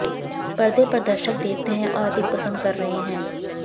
पर्दे पर दर्शक देखते हैं और अधिक पसंद कर रहे हैं